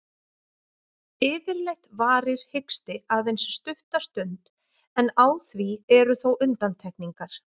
Yfirleitt varir hiksti aðeins stutta stund, en á því eru þó undantekningar.